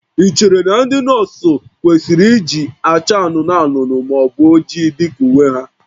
Ị chere na ndị nọọsụ kwesịrị iji acha anụnụ anụnụ ma ọ bụ oji dị ka uwe ha?